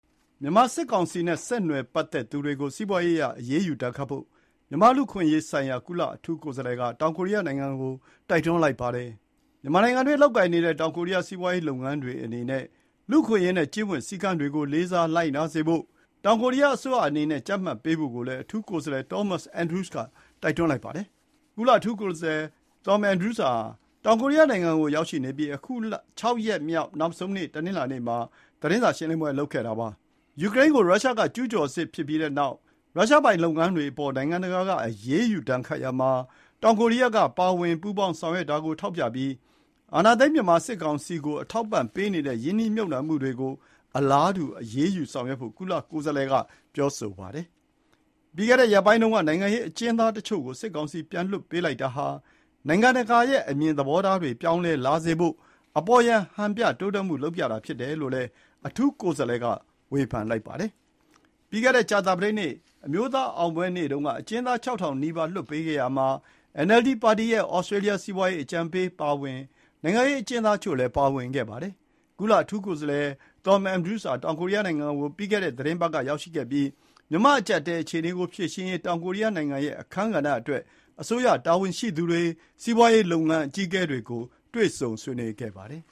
မြန်မာစစ်ကောင်စီဆက်နွယ်ပတ်သက်သူတွေကို စီးပွားရေးအရ အရေးယူဒဏ်ခတ်ဖို့ မြန်မာ့လူအခွင့်အရေးဆိုင်ရာ ကုလအထူးကိုယ်စားလှယ်က တောင်ကိုရီးယားနိုင်ငံကို တိုက်တွန်းပါတယ်။ မြန်မာနိုင်ငံအတွင်းလုပ်ကိုင်နေတဲ့ တောင်ကိုရီးယားစီးပွားရေးလုပ်ငန်းတွေအနေနဲ့ လူ့အခွင့်အရေးနဲ့ ကျင့်ဝတ်စည်းကမ်းတွေကို လေးစားလိုက်နာစေဖို့ တောင်ကိုရီးယားအစိုးရအနေနဲ့ ကြပ်မတ်ပေးဖို့ကိုလည်း အထူးကိုယ်စားလှယ် Thomas Andrews က တိုက်တွန်းပါတယ်။ ကုလအထူးကိုယ်စားလှယ် Thomas Andrews ဟာ တောင်ကိုရီးယားနိုင်ငံကို ရောက်ရှိနေပြီး အခု ၆ ရက်မြောက် နောက်ဆုံးနေ့ တနင်္လာနေ့မှာ သတင်းစာရှင်းလင်းပွဲလုပ်တာပါ။ ယူကရိန်းကို ရုရှားကျူးကျော်စစ်ဖြစ်ပြီးနောက် ရုရှားပိုင်လုပ်ငန်းတွေအပေါ် နိုင်ငံတကာက အရေးယူဒဏ်ခတ်ရာမှာ တောင်ကိုရီးယားက ပါဝင်ပူးပေါင်းဆောင်ရွက်တာကို ထောက်ပြပြီး အာဏာသိမ်း မြန်မာစစ်ကောင်စီကို အထောက်အပံ့ပေးနေတဲ့ ရင်းနှီးမြှုပ်နှံမှုတွေကို အလားတူ အရေးယူဆောင်ရွက်ဖို့ ကုလကိုယ်စားလှယ်က ပြောဆိုပါတယ်။ ပြီးခဲ့တဲ့ရက်ပိုင်းတုန်းက နိုင်ငံရေးအကျဉ်းသားတချို့ကို စစ်ကောင်စီ ပြန်လွှတ်ပေးတာဟာ နိုင်ငံတကာရဲ့အမြင်သဘောထားတွေ ပြောင်းလဲလာစေဖို့ အပေါ်ယံ ဟန်ပြတိုးတက်မှု လုပ်ပြတာဖြစ်တယ်လို့လည်း အထူးကိုယ်စားလှယ်က ဝေဖန်ပါတယ်။ ပြီးခဲ့တဲ့ ကြာသာပတေးနေ့ အမျိုးသားအောင်ပွဲနေ့တုန်းက အကျဉ်းသား ၆ ထောင်နီးပါးလွှတ်ပေးခဲ့ရာမှာ NLD ပါတီရဲ့ ဩစတြေးလျ စီးပွားရေးအကြံပေးအပါအဝင် နိုင်ငံရေးအကျဉ်းသားတချို့လည်း ပါဝင်ခဲ့ပါတယ်။ ကုလအထူးကိုယ်စားလှယ် Thomas Andrews ဟာ တောင်ကိုရီးယားနိုင်ငံကို ပြီးခဲ့တဲ့သီတင်းပတ်က ရောက်ရှိပြီး မြန်မာ့အကျပ်အတည်းအခြေအနေကိုဖြေရှင်းရေး တောင်ကိုရီးယားနိုင်ငံရဲ့အခန်းကဏ္ဍအတွက် အစိုးရတာဝန်ရှိသူတွေ၊ စီးပွားရေးလုပ်ငန်းအကြီးအကဲတွေကို တွေ့ဆုံဆွေးနွေးခဲ့ပါတယ်။